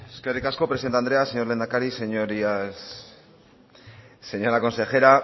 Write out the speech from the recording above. eskerrik asko presidente andrea señor lehendakari señorías señora consejera